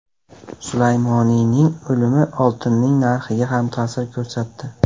Sulaymoniyning o‘limi oltinning narxiga ham ta’sir ko‘rsatdi.